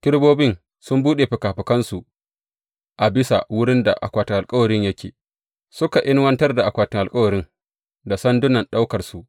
Kerubobin sun buɗe fikafikansu a bisa wurin da akwatin alkawarin yake, suka inuwartar da akwatin alkawarin da sandunan ɗaukansa.